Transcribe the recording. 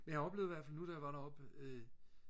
jeg oplevede i hvertfald nu da jeg var deroppe øh